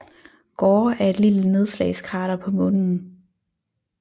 Gore er et lille nedslagskrater på Månen